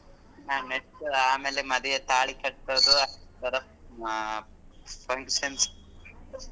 ಹಾ next ಆಮೇಲೆ ಮದ್ವೆ ತಾಳಿ ಕಟ್ಟೋಡು ಅಹ್ functions .